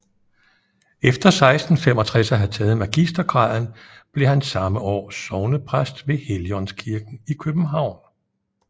Efter 1665 at have taget magistergraden blev han samme år sognepræst ved Helligaandskirken i København